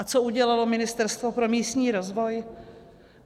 A co udělalo Ministerstvo pro místní rozvoj?